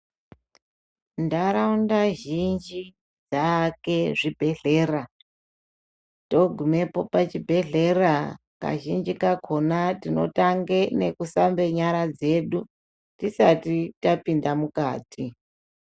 Ntharaunda zhinji dzaake zvibhedhlera. Togumepo pachibhedhlera kazhinji kakona tinotange nekusambe nyara dzedu tisati tapinda mukati.